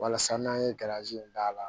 Walasa n'an ye garanzi d'a la